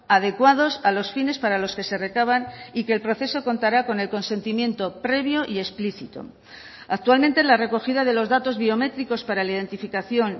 adecuados a los fines para los que se recaban y que el proceso contará con el consentimiento previo y explícito actualmente la recogida de los datos biométricos para la identificación